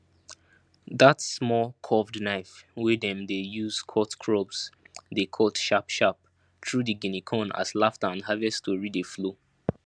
dat small curved knife wey dem dey use cut crops dey cut sharpsharp through di guinea corn as laughter and harvest tory dey flow